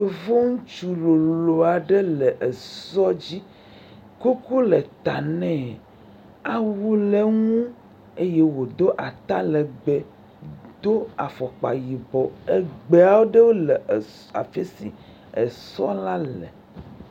Yevu ŋutsu lolo aɖe esɔ dzi, kuku le ta nɛ, awu le ŋu eye wòdo atalegbe, do afɔkpa yibɔ, egbe aɖewo le afi si esɔ la le.